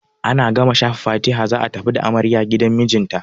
Ana gama shafa fatiha za a tafi da amarya gidan mijinta.